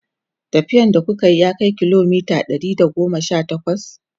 tafiyan da kukayi ya Kai kilomita Ɗari da goma Sha takwas?